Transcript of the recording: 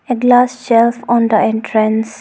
A glass shelf on the entrance.